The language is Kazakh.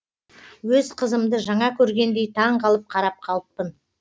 өз қызымды жаңа көргендей таңғалып қарап қалыппын